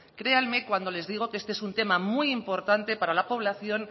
créanme cuando les digo que este es un tema muy importante para la población